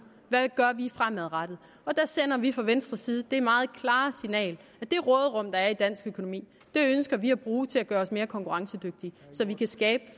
hvad vi gør fremadrettet og der sender vi fra venstres side det meget klare signal at det råderum der er i dansk økonomi ønsker vi at bruge til at gøre os mere konkurrencedygtige så vi kan skabe